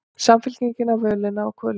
Samfylkingin á völina og kvölina